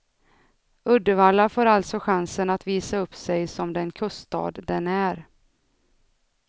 Uddevalla får alltså chansen att visa upp sig som den kuststad den är.